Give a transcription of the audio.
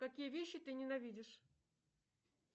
какие вещи ты ненавидишь